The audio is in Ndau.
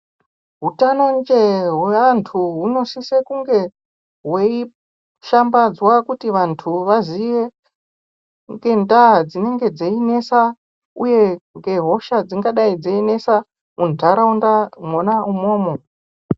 Hutano njee hweantu hunosise kunge hweishambadzwa kuti vantu vaziye ngendaa dzinonga dzeinesa uye ngehosha dzingadai dzeinesa muntaraunda mwona imomo.